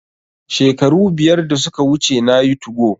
Shekaru biyar da suka wuce nayi 2go